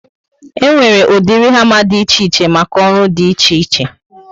E nwere ụdịrị hama dị ichè ichè maka ọrụ dị iche iche